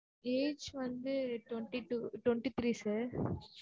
age வந்து twenty two twenty three sir